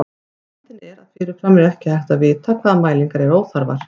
Vandinn er að fyrirfram er ekki hægt að vita hvaða mælingar eru óþarfar.